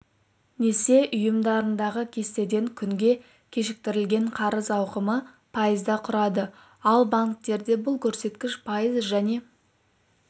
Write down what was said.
несие ұйымдарындағы кестеден күнге кешіктірілген қарыз ауқымы пайызды құрады ал банктерде бұл көрсеткіш пайыз және